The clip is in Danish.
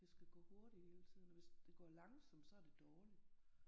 Det skal gå hurtigt hele tiden og hvis det går langsomt så er det dårligt